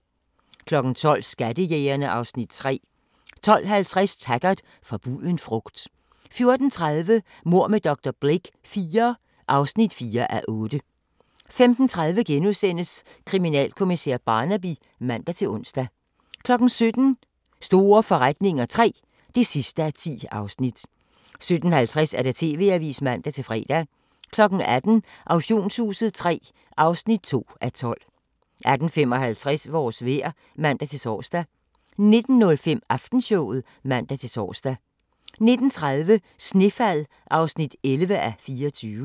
12:00: Skattejægerene (Afs. 3) 12:50: Taggart: Forbuden frugt 14:30: Mord med dr. Blake IV (4:8) 15:30: Kriminalkommissær Barnaby *(man-ons) 17:00: Store forretninger III (10:10) 17:50: TV-avisen (man-fre) 18:00: Auktionshuset III (2:12) 18:55: Vores vejr (man-tor) 19:05: Aftenshowet (man-tor) 19:30: Snefald (11:24)